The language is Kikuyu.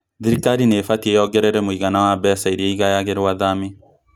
Thirikari nĩ ĩbatĩĩ yongerere mũigana wa mbeca iria igayagĩrwo athami